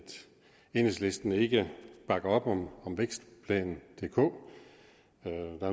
enhedslisten ikke bakker op om om vækstplan dk